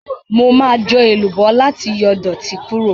Mo ma jọ èlùbọ́ láti yọ ìdọ̀tí Kúrò.